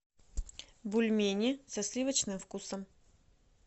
бульмени со сливочным вкусом